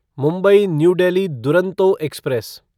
Mumbai New Delhi Duronto express